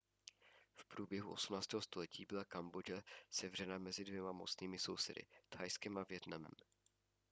v průběhu 18. století byla kambodža sevřena mezi dvěma mocnými sousedy thajskem a vietnamem